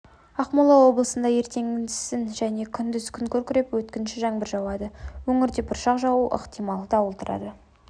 ақмола облысында ертеңгісін және күндіз күн күркіреп өткінші жаңбыр жауады өңірде бұршақ жаууы ықтимал дауыл тұрады